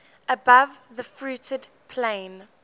above the fruited plain